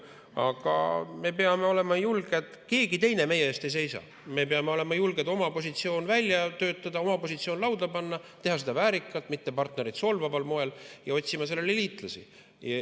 Aga me peame olema julged, keegi teine meie eest ei seisa, me peame oma positsiooni välja töötama, oma positsiooni lauda panema, tegema seda väärikalt, mitte partnereid solvaval moel, ja otsima liitlasi.